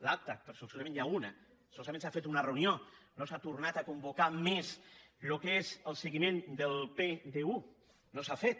l’acta perquè solament n’hi ha una solament s’ha fet una re·unió no s’ha tornat a convocar més el que és el se·guiment del pdu no s’ha fet